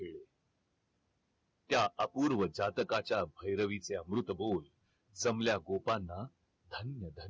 त्या अपूर्व जातकाच्या भैरवीचे अमृत बोल जमल्या गोपांना धन्य धन्य